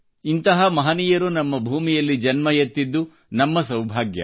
ಇಂತಹ ಮಹನೀಯರು ನಮ್ಮ ಭೂಮಿಯಲ್ಲಿ ಜನ್ಮವೆತ್ತಿದ್ದು ನಮ್ಮ ಸೌಭಾಗ್ಯ